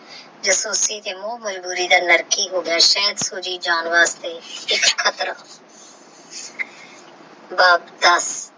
ਸੂਜੀ ਜਾਨ ਵਾਸਤੇ ਖਤਰਾ